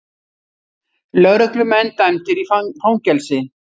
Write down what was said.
Lögreglumenn dæmdir í fangelsi